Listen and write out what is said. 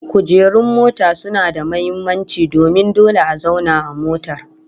Kujerun mota suna da muhimmanci domin dole a zauna a motar